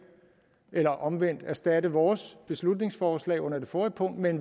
eller omvendt erstatte vores beslutningsforslag under det forrige punkt med et